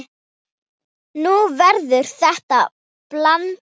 Nú verður þetta blanda.